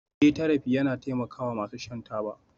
Eh therapy yana taimakawa masu shan taba